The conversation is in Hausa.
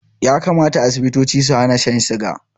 Ya kamata Asibitoci su hana shan suga